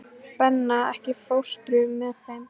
Benna, ekki fórstu með þeim?